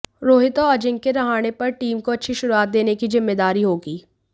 रोहित और अजिंक्य रहाणे पर टीम को अच्छी शुरुआत देने की जिम्मेदारी होगी